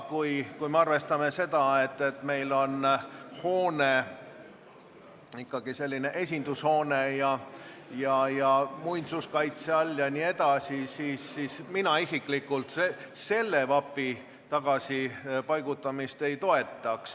Kui arvestada, et see hoone on ikkagi riigi esindushoone ja muinsuskaitse all jne, siis mina isiklikult selle vapi tagasipaigutamist ei toeta.